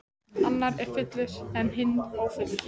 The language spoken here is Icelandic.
Annar er fullur en hinn ófullur.